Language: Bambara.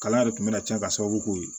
Kalan yɛrɛ tun bɛna cɛn ka sababu k'o ye